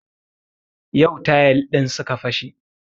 Yau tayal ɗin suka fashe